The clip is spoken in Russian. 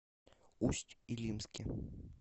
усть илимске